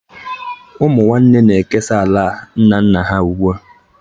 Ụmụ nwanne na-ekesa ala nna nna ha ugbu a